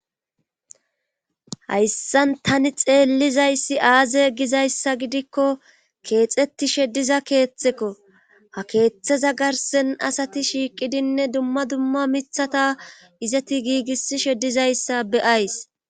hayssan tani xeellizayssi aaze gizayssa gidikko keexetishe diza keeththekko ha keeththeza garsen asati shiiqidinne dumma dumma mithata izati giigissi she dizayssa beyays